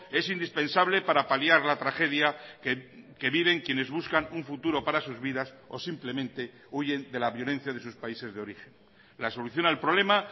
es indispensable para paliar la tragedia que viven quienes buscan un futuro para sus vidas o simplemente huyen de la violencia de sus países de origen la solución al problema